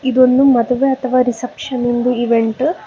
ಇದೊಂದು ಮದುವೆ ಅಥವಾ ರಿಸೆಪ್ಶನ್ ನಿಂದು ಇವೆಂಟು .